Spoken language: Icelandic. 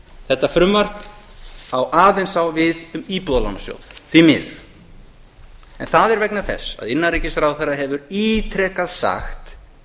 þetta frumvarp á aðeins við um íbúðalánasjóð því miður en það er vegna þess að innanríkisráðherra hefur ítrekað sagt